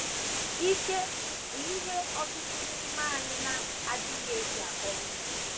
IKE bụ ihe ọtụtụ n’ime anyị na - adịghị eji akpọrọ oké ihe.